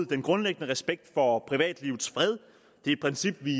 den grundlæggende respekt for privatlivets fred det er et princip vi